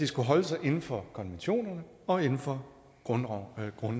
skulle holde sig inden for konventionerne og inden for grundloven for